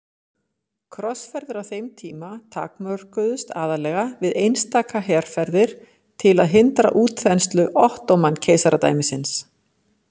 Krossferðir á þeim tíma takmörkuðust aðallega við einstaka herferðir til að hindra útþenslu Ottóman-keisaradæmisins.